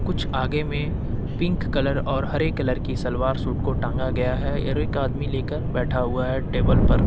कुछ आगे में पिंक कलर और हरे कलर की सलवार सूट को टांगा गया है और एक आदमी लेकर बैठा हुआ है टेबल पर।